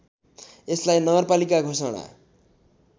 यसलाई नगरपालिका घोषणा